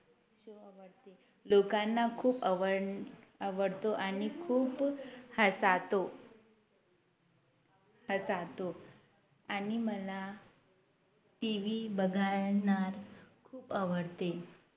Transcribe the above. लोकांना खूप आवड आवडतो आणि खूप हसातो हसातो आणि मला TV बघण्याला खूप आवडते